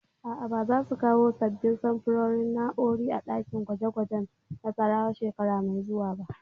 A'a, ba za su kawo sabbin samfurin na'urori a ɗakin gwaje gwajen Nassarawa shekara mai zuwa ba